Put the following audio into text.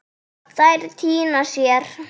Þær týna sér.